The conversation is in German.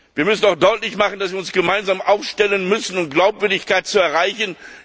Wir müssen auch deutlich machen, dass wir uns gemeinsam aufstellen müssen, um Glaubwürdigkeit zu erreichen.